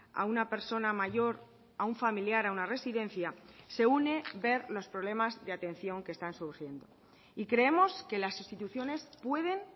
a una persona mayor a un familiar a una residencia se une ver los problemas de atención que están surgiendo y creemos que las instituciones pueden